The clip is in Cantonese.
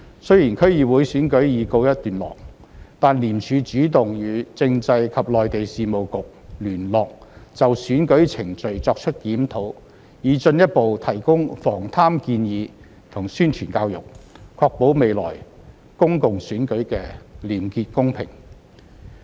雖然區議會選舉已告一段落，但廉署主動與政制及內地事務局聯絡，就選舉程序作出檢討以進一步提供防貪建議及宣傳教育，確保未來公共選舉的廉潔公平。